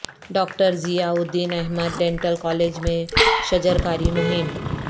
doctor Ziauddin Ahmed dental college میں شجرکاری مہم